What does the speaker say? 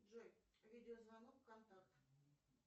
джой видеозвонок контакт